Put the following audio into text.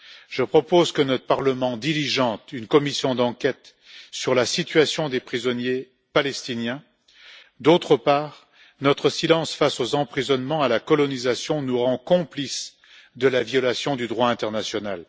Je propose que notre Parlement diligente une commission d'enquête sur la situation des prisonniers palestiniens. D'autre part, notre silence face aux emprisonnements, à la colonisation, nous rend complices de la violation du droit international.